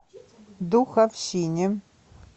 духовщине